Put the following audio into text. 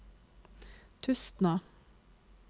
Tustna